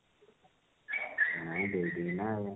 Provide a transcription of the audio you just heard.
ନାଇଁ ଦେବି ନା